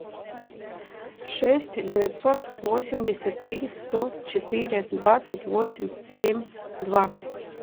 шесть девятьсот восемьдесят три сто четыре двадцать восемь семь два